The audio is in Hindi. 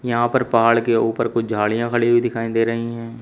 यहां पहाड़ के ऊपर कुछ झाड़ियां खड़ी हुई दिखाई दे रही हैं।